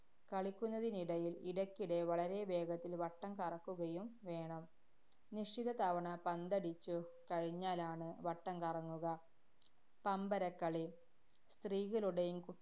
കളിക്കുന്നതിനിടയില്‍ ഇടയ്ക്കിടെ വളരെ വേഗത്തില്‍ വട്ടം കറക്കുകയും വേണം. നിശ്ചിത തവണ പന്തടിച്ചു കഴിഞ്ഞാലാണ് വട്ടം കറങ്ങുക. പമ്പരക്കളി. സ്ത്രീകളുടെയും